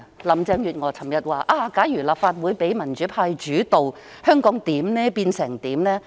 林鄭月娥昨日說，假如立法會讓民主派主導，香港會變成怎樣？